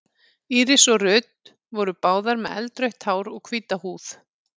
Íris og Ruth voru báðar með eldrautt hár og hvíta húð.